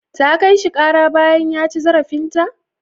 Ta kai shi ƙara bayan ya ci zarafinta?